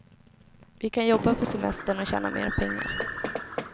Vi kan jobba på semestern och tjäna mer pengar.